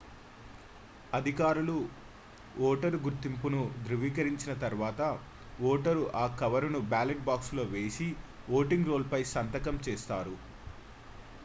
అధికారులు ఓటరు గుర్తింపును ధ్రువీకరించిన తర్వాత ఓటరు ఆ కవరును బ్యాలెట్ బాక్సులో వేసి ఓటింగ్ రోల్ పై సంతకం చేస్తారు